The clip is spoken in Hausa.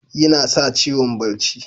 Yinasa ciwon barci.